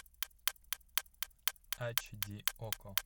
ач ди окко